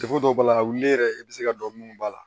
dɔw b'a la wuli yɛrɛ i bɛ se ka dɔn munnu b'a la